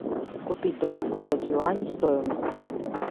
купить двадцать пять юаней стоимость